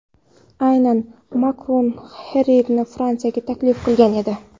Aynan Makron Haririyni Fransiyaga taklif qilgan edi.